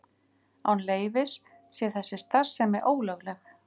Án leyfis sé þessi starfsemi ólögleg